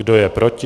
Kdo je proti?